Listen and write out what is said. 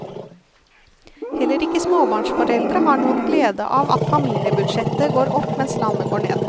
Heller ikke småbarnsforeldre har noen glede av at familiebudsjettet går opp mens landet går ned.